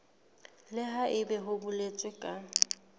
le haebe ho boletswe ka